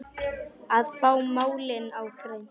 Að fá málin á hreint